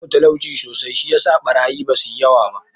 Babu talauci sosai da, shi yasa ɓarayi ba su yi yawa ba.